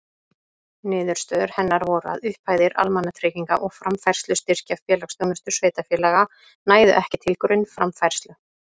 Niðurstöður hennar voru að upphæðir almannatrygginga og framfærslustyrkja félagsþjónustu sveitarfélaga nægðu ekki til grunnframfærslu.